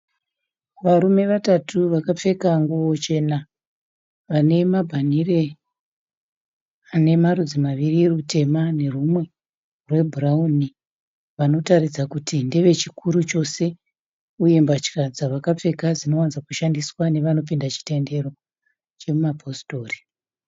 Varume vatatu vakapfeka nguwo chena. Vanemabhandire anemarudzi maviri rutema nerumwe rwebhurauni. Vanotaridza kuti varume vakuru chose, uye mbatya dzavakapfeka dzinovadzokushandiswa nevanopinda chitendero chemapisitori.